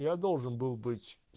я должен был быть